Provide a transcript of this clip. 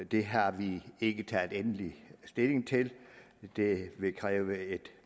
det har vi ikke taget endelig stilling til det vil kræve et